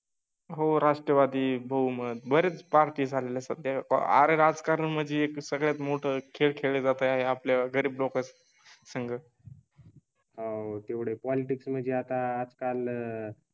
हो राष्ट्रवादी बहुमत बरेच पार्टी झाले सध्या अ राज कारण म्हणजे एक सगळ्यात मोठा खेळ आहे. आपल्या गरीब लोकच सागा. हो तेवढे पॉलिटिक्स म्हणजे आता आजकाल